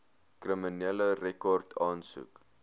kriminele rekord aansoek